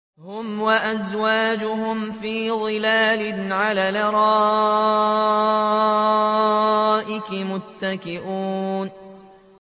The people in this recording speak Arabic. هُمْ وَأَزْوَاجُهُمْ فِي ظِلَالٍ عَلَى الْأَرَائِكِ مُتَّكِئُونَ